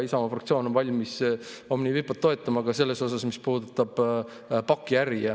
Isamaa fraktsioon on valmis Omniva IPO‑t toetama selles osas, mis puudutab pakiäri.